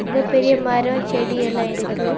இங்க பெரிய மரம் செடி எல்லா இருக்கு.